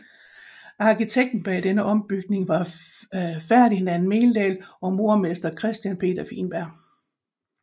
Arkitekten bag denne ombygning var Ferdinand Meldahl og murermester Christian Peder Wienberg